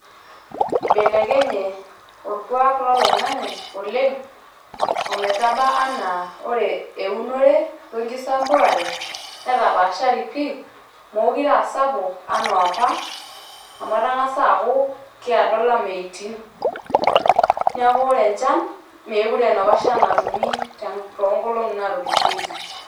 Eibelekenye olkuak loloing`ang`e oleng o metaba anaa ore eunore o nkisampuare, netapaashari pii meekure aasapuk enaa apa amu etang`asa aaku keedo ilameyutin. Niaku ore enchan meekure aa enapa shan natumi too nkolong`i naatulusoitie.